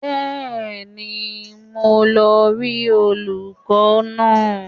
Bẹ́ẹ̀ni, mò ń lọ rí olùkọ́ náà